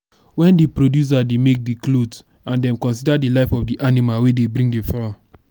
when di producer dey make cloth and dem consider di life of di animal wey dey bring di fur